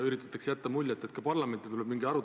Üritatakse jätta muljet, et ka parlamendis tuleb mingi arutelu.